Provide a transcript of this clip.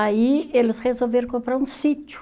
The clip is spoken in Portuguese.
Aí eles resolveram comprar um sítio.